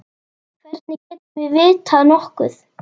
Hvernig getum við vitað nokkuð?